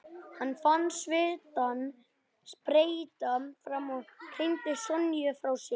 Hann fann svitann spretta fram og hrinti Sonju frá sér.